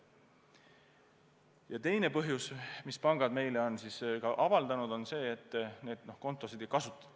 Ja teine põhjus, mille pangad meile on ka avaldanud, on see, et kontosid ei kasutata.